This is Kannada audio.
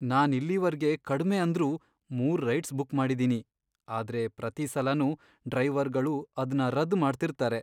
ನಾನ್ ಇಲ್ಲಿವರ್ಗೆ ಕಡ್ಮೆ ಅಂದ್ರೂ ಮೂರ್ ರೈಡ್ಸ್ ಬುಕ್ ಮಾಡಿದೀನಿ. ಆದ್ರೆ ಪ್ರತೀ ಸಲನೂ ಡ್ರೈವರ್ಗಳು ಅದ್ನ ರದ್ದ್ ಮಾಡ್ತಿದಾರೆ.